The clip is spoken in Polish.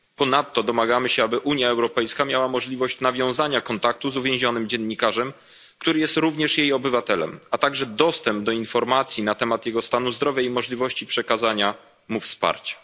Ponadto domagamy się, aby Unia Europejska miała możliwość nawiązania kontaktu z uwięzionym dziennikarzem, który jest również jej obywatelem, a także dostęp do informacji na temat jego stanu zdrowia i możliwości przekazania mu wsparcia.